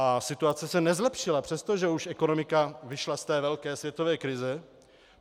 A situace se nezlepšila, přestože už ekonomika vyšla z té velké světové krize.